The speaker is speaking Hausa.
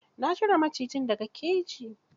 Na cire macijin da ga keji.